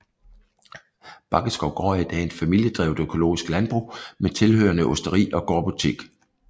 Baggeskov Gård er i dag et familiedrevet økologisk landbrug med tilhørende osteri og gårdbutik